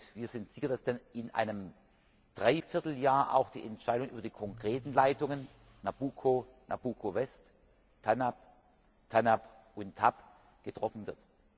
Wir sind sicher, dass dann in einem Dreivierteljahr auch die Entscheidungen über die konkreten Leitungen Nabucco, Nabucco West, TANAP und TAP getroffen wird.